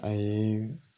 A ye